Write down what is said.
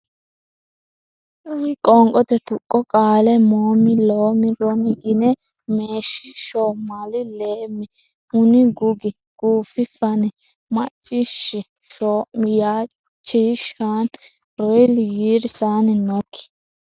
Qoonqote Tuqqo Qaale moom loom ron yin meesh sho mal leem hun gug guuf fan mac ciish shoom yaa chi shan ril yir san nok.